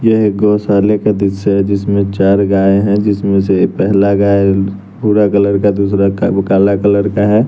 यह एक गौशाले का दृश्य है जिसमें चार गाये हैं जिसमें से पहला गाय भूरा कलर का दूसरा काला कलर का है।